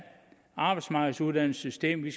arbejdsmarkedsuddannelsessystemet